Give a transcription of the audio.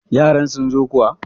yaran sun zo kuwa!